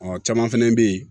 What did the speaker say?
Ɔ caman fɛnɛ bɛ ye